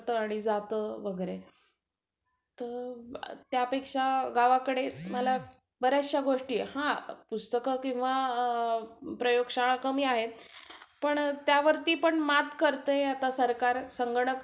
अजून बघ बाकीच्या खर्चांसाठी पण bank loan देते. फक्त college ची fees नाही. अजून आपल्याला पुस्तके पाहिजे अजून जर आपल्याला laptop पाहिजे असलं. आपल्याला लागत असेल.